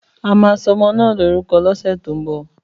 Àmà sọmọ nà lòrúkọ lọsẹ tó mbọ.